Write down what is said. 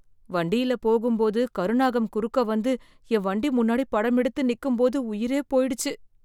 வண்டியில போகும்போது கருநாகம் குறுக்கு வந்து என் வண்டி முன்னாடி படம் எடுத்து நிக்கும் போது உயிரே போயிடுச்சு